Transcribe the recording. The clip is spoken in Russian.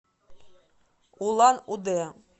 улан удэ